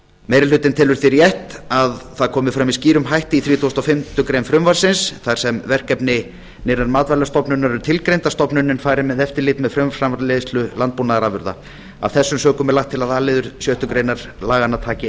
meiri hlutinn telur því rétt að fram komi með skýrum hætti í þrítugasta og fimmtu grein frumvarpsins þar sem verkefni nýrrar matvælastofnunar eru tilgreind að stofnunin fari með eftirlit með frumframleiðslu landbúnaðarafurða af þessum sökum er lagt til að a liður sjöttu grein laganna taki